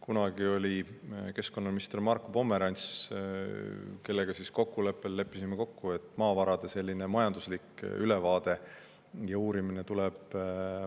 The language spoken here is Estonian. Kunagi oli keskkonnaminister Marko Pomerants, kellega me leppisime kokku, et maavarade uurimine ja sellise majandusliku ülevaate saamine tuleb